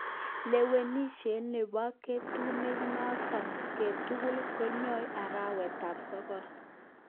Lewenishet nebo kotnekongo'ten ngo'tutil keyoe arawet tab sokol